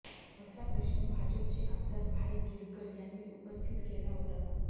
असा प्रश्न भाजपचे आमदार भाई गिरकर यांनी उपस्थित केला होता